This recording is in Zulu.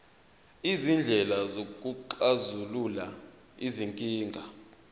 izindlela zokuxazulula izinkinga